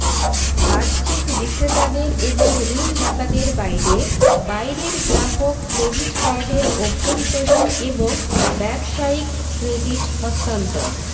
বাহ্যিক বিক্রেতাদের এবং ঋণদাতাদের বাইরে বাইরের গ্রাহক ক্রেডিট কার্ডের অভ্যন্তরীণ এবং ব্যবসায়িক ক্রেডিট হস্তান্তর